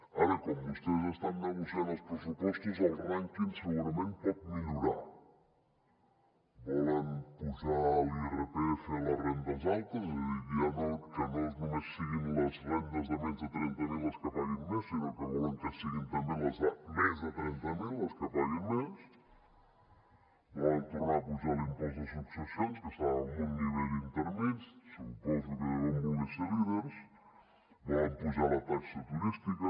ara com vostès estan negociant els pressupostos el rànquing segurament pot millorar volen apujar l’irpf a les rendes altes és a dir que no només siguin les rendes de menys de trenta mil les que paguin més sinó que volen que siguin també les de més de trenta mil les que paguin més volen tornar a apujar l’impost de successions que estava en un nivell intermedi suposo que deuen voler ser líders volen apujar la taxa turística